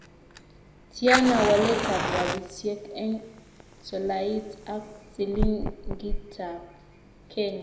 Tiana waletap rabisyiek eng' tolait ak silingita kenya